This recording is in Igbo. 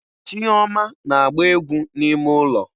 Chioma na-agba égwú n'ime ụlọ